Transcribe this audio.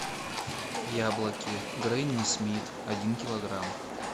яблоки гренни смит один килограмм